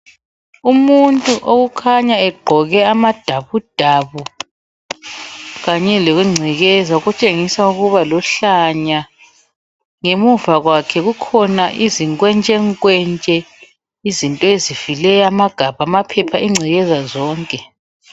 Umuntu okhanya egqoke amadabudabu kanye lengcekeza okutshengisa ukuba luhlanya, ngemuva kwakhe kukhona izinkwentshenkwentshe, izinto ezifileyo, amagabha, amaphepha, ingcekeza zonke.